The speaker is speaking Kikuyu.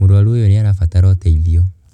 Mũrũaru oyũ nĩ arabatara ũteithio.